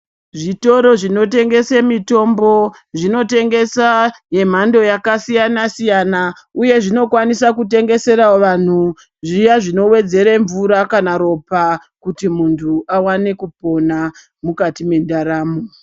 Zvitoro zvinotengese mitombo zvinotengesa yemhando yakasiyana siyana uye zvinokwanisa kutengesera vantu zviya zvinowedzere mvura kana ropa kuti muntu awane kupona mukati mwendaramo.